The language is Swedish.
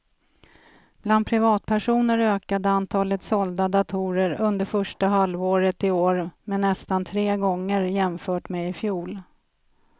Bland privatpersoner ökade antalet sålda datorer under första halvåret i år med nästan tre gånger jämfört med i fjol.